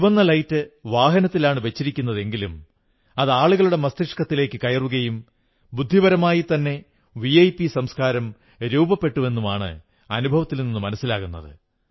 ചുവന്ന ലൈറ്റ് വാഹനത്തിലാണു വച്ചിരുന്നതെങ്കിലും അത് ആളുകളുടെ മസ്തിഷ്കത്തിലേക്ക് കയറുകയും ബുദ്ധിപരമായിത്തന്നെ വിഐപി സംസ്കാരം രൂപപ്പെട്ടുവെന്നുമാണ് അനുഭവത്തിൽ നിന്ന് മനസ്സിലാകുന്നത്